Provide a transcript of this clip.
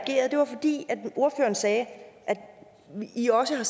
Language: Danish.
ordføreren sagde at i også har